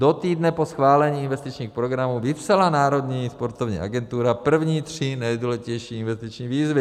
Do týdne po schválení investičních programů vypsala Národní sportovní agentura první tři nejdůležitější investiční výzvy.